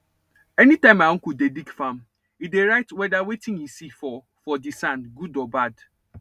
anytime my uncle dey dig farm he dey write whedir wetin he see for for di sand good or bad